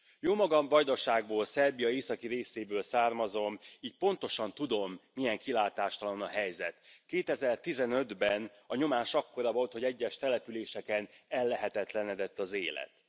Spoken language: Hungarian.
Jómagam Vajdaságból, Szerbia északi részéből származom, így pontosan tudom, milyen kilátástalan a helyzet. 2015 ben a nyomás akkora volt, hogy egyes településeken ellehetetlenedett az életet.